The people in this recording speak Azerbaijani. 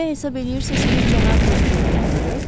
Belə hesab eləyirsiz ki, cənab Retçet öldürülüb?